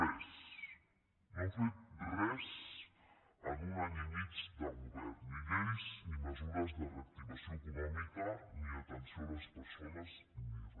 re no han fet res en un any i mig de govern ni lleis ni mesures de reactivació econòmica ni atenció a les persones ni re